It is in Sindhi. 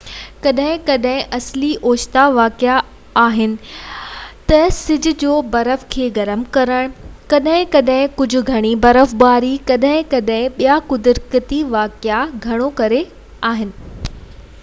ڪڏهن ڪڏهن اصلي اوچتا واقعا اهي آهن تہ سج جو برف کي گرم ڪرڻ ڪڏهن ڪڏهن ڪجهہ گهڻي برفباري ڪڏهن ڪڏهن ٻيا قدرتي واقعا گهڻو ڪري انسان